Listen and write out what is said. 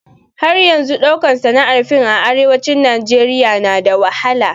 Har yanzun ɗaukan sana'ar fiim a arewacin Najeriya na da wahala